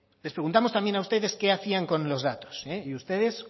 les preguntamos también a ustedes qué hacían con los datos y ustedes